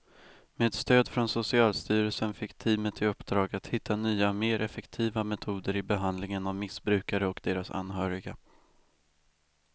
Med stöd från socialstyrelsen fick teamet i uppdrag att hitta nya, mer effektiva metoder i behandlingen av missbrukare och deras anhöriga.